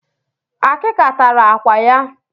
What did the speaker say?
Termites destroyed her pictures